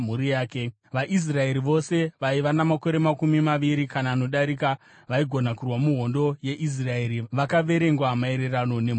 VaIsraeri vose vaiva namakore makumi maviri kana anodarika vaigona kurwa muhondo yeIsraeri vakaverengwa maererano nemhuri dzavo.